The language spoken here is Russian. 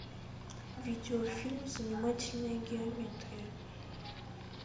видеофильм занимательная геометрия